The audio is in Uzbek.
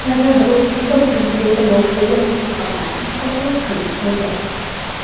Ulardan biri O‘zbekiston Prezidenti boshlagan islohotlarni muhokama qilish bo‘lgan.